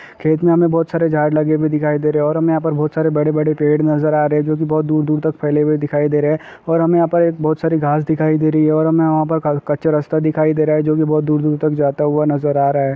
खेत मे हमे बहोत सारे झाड़ लगे हुए दिखाई दे रहै है और हमे यहाँ पर बहोत सारे बड़े बड़े पेड़ नजर आ रहै है जोकि बहुत दूर दूर तक फैले हुए दिखाई दे रहै है और हमे यहाँ पर एक बहुत सारी घास दिखाई दे रही है और हमे वहाँ पर क कच्चा रस्ता दिखाई दे रहा है जोकि बहुत दूर दूर तक जाता हुआ नजर आ रहा है।